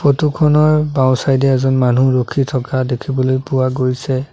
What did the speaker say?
Photo খনৰ বাওঁ side এ এজন মানুহ ৰখি থকা দেখিবলৈ পোৱা গৈছে।